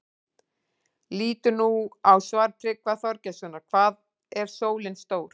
Lítum nú á svar Tryggva Þorgeirssonar, Hvað er sólin stór?